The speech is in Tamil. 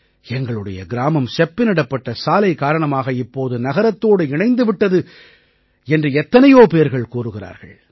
எங்களுடைய கிராமம் செப்பனிடப்பட்ட சாலை காரணமாக இப்போது நகரத்தோடு இணைந்து விட்டது என்று எத்தனையோ பேர்கள் கூறுகிறார்கள்